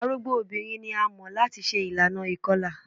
Arugbo obinrin ni a mọ lati ṣe ilana ikọla